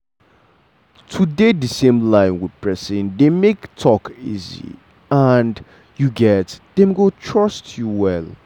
to dey the same line with person dey make talk easy and um dem go trust you well.